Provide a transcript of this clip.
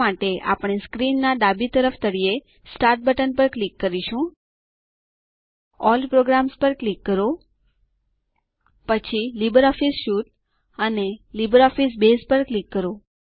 આ માટે આપણે સ્ક્રીન ના ડાબી તરફના તળિયે સ્ટાર્ટ બટન પર ક્લિક કરીશું અલ્લ પ્રોગ્રામ્સ પર ક્લિક કરો પછી લિબ્રિઓફિસ સ્યુટ અને લિબ્રિઓફિસ બસે પર ક્લિક કરો